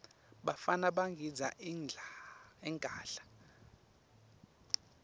bafana bagidza ingadla